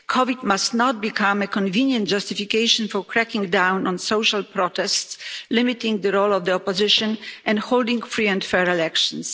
COVID 19 must not become a convenient justification for cracking down on social protests, limiting the role of the opposition and holding free and fair elections.